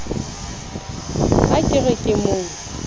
he ke re ke mo